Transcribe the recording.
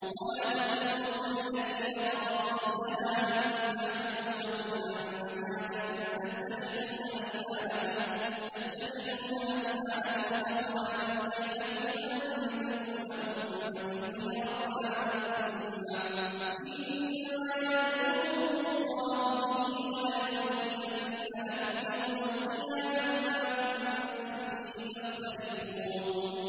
وَلَا تَكُونُوا كَالَّتِي نَقَضَتْ غَزْلَهَا مِن بَعْدِ قُوَّةٍ أَنكَاثًا تَتَّخِذُونَ أَيْمَانَكُمْ دَخَلًا بَيْنَكُمْ أَن تَكُونَ أُمَّةٌ هِيَ أَرْبَىٰ مِنْ أُمَّةٍ ۚ إِنَّمَا يَبْلُوكُمُ اللَّهُ بِهِ ۚ وَلَيُبَيِّنَنَّ لَكُمْ يَوْمَ الْقِيَامَةِ مَا كُنتُمْ فِيهِ تَخْتَلِفُونَ